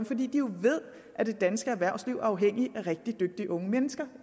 fordi de jo ved at det danske erhvervsliv er afhængigt af rigtig dygtige unge mennesker